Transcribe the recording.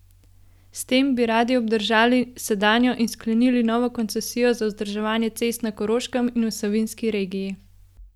S tem bi radi obdržali sedanjo in sklenili novo koncesijo za vzdrževanje cest na Koroškem in v Savinjski regiji.